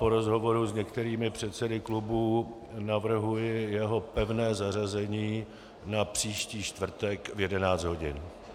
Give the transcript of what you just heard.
Po rozhovoru s některými předsedy klubů navrhuji jeho pevné zařazení na příští čtvrtek v 11 hodin.